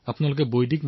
আৰে বাহ